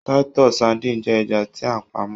Titus sardine jẹ ẹja ti a pamọ́.